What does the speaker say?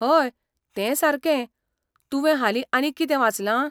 हय, तें सारकें, तुवें हालीं आनीक कितें वाचलां?